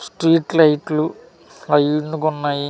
Street లైట్లు line గా ఉన్నాయి.